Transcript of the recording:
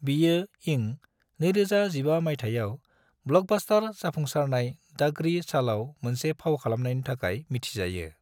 बियो इं 2015 माइथायाव ब्लकबस्टर जाफुंसारनाय दागड़ी चॉलआव मोनसे फाव खालामनायनि थाखाय मिथिजायो।